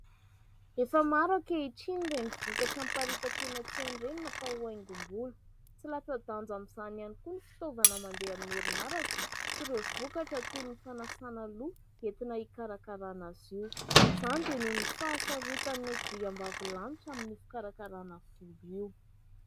Efa maro ankehitriny ireny vokatra miparitaka eny an-tsena ireny natao ho haingom-bolo. Tsy latsa-danja ihany koa ny fitaovana mandeha amin'ny herinaratra sy ireo vokatra toy ny fanasana loha entina hikarakarana azy io. Izany dia noho ny fahasarotan'ny andriambavilanitra amin'ny fikarakarana volo io.